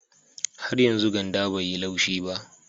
Har yanzu ganda bai yi laushi ba